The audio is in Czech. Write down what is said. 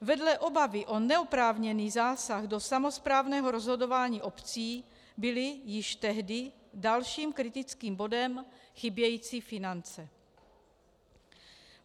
Vedle obavy o neoprávněný zásah do samosprávného rozhodování obcí byly již tehdy dalším kritickým bodem chybějící finance.